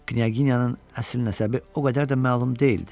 Knyaginyanın əsl nəsəbi o qədər də məlum deyildi.